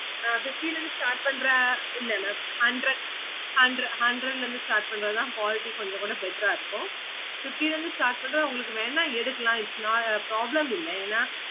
ஆஹ் fifty ல இருந்து start பண்ற இல்ல mam hundred hundred hundred ல இருந்து start பண்றது தான் quality கொஞ்ச கூட better ஆஹ் இருக்கும் fifty ல இருந்து start பண்றது உங்களுக்கு வேணும்னா எடுக்கல its not problem இல்ல